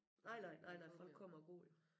Nej nej nej nej folk kommer og går jo